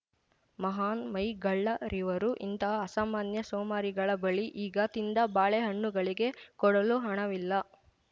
ಮಹಾನ್‌ ಮೈಗಳ್ಳರಿವರು ಇಂತಹ ಅಸಾಮಾನ್ಯ ಸೋಮಾರಿಗಳ ಬಳಿ ಈಗ ತಿಂದ ಬಾಳೆಹಣ್ಣುಗಳಿಗೆ ಕೊಡಲು ಹಣವಿಲ್ಲ